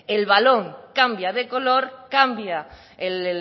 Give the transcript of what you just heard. el balón cambia de color cambia el